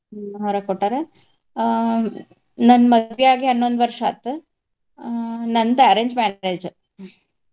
ಹ್ಮ್ ಹೊರಗ್ ಕೊಟ್ಟಾರ. ಆಹ್ ನನ್ನ ಮದ್ವಿ ಆಗಿ ಹನ್ನೊಂದ್ ವರ್ಷ ಆತ್. ಆಹ್ ನಂದ arrange marriage .